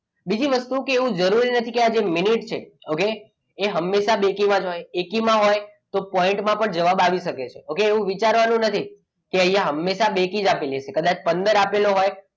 બીજી વસ્તુ કે એવું જરૂરી નથી કે આજે મિનિટ છે okay એ હંમેશા બેકીમાં જ હોય એકીમાં હોય એમાં point માં પણ જવાબ આવી શકે છે okay એવું વિચારવાનું નથી કે અહીંયા હંમેશા બેકી જ આપેલી હોય કદાચ પંદર આપેલો હોય,